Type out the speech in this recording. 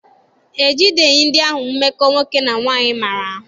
E jideghi ndị ahụ mmekọ nwoke na nwaanyị maara ahụ.